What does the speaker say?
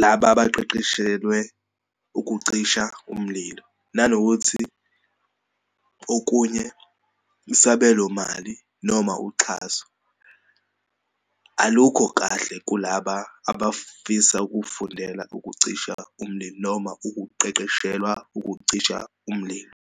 laba abaqeqeshelwe ukucisha umlilo. Nanokuthi okunye, isabelo mali noma uxhaso alukho kahle kulaba abafisa ukufundela ukucisha umlilo noma ukuqeqeshelwa ukucisha umlilo.